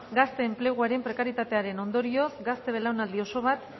gazte enpleguaren prekaritatearen ondorioz gazte belaunaldi oso bat